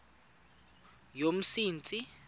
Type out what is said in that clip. yomsintsi